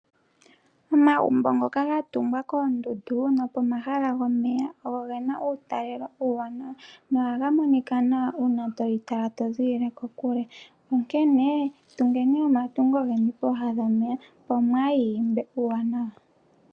Omagumbo ngoka gatungwa koondundu nopomahala gomeya, ogena uutalelo uuwanawa, nohaga monika nawa uuna toli tala toziilile kokule. Onkene, tungeni omatungo geni pooha dhomeya opo mwaayi imbe uuwanawa.